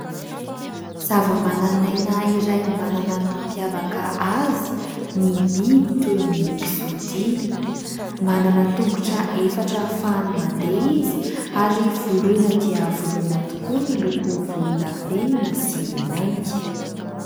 Zavamananaina iray manana ny mampiavaka azy ny biby toy ny kisoa dia. Manana tongotra efatra ahafahany mandeha izy ary voloina dia voloina tokoa miloko volondavenona sy mainty.